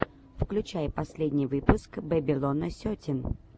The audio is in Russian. включай последний выпуск бэбилона сетин